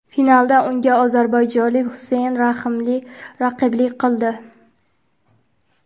Finalda unga ozarbayjonlik Xuseyn Raximli raqiblik qildi.